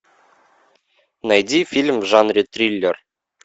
найди фильм в жанре триллер